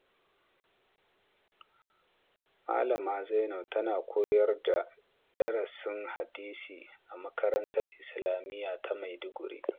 Malama Zainab tana koyar da darasin hadisi a makarantar Islamiyya ta Maiduguri.